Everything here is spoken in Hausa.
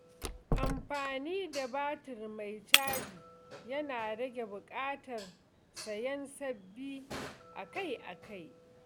Amfani da batir mai caji yana rage buƙatar sayen sabbi akai-akai.